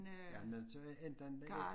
Jeg nødt til entet ligge